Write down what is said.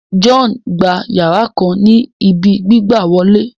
John gbà yara kan ní ibí gbigbawole